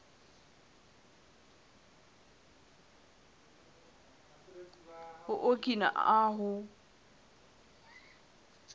o okina ahu